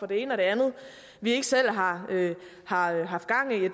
det ene og det andet vi ikke selv har har haft gang i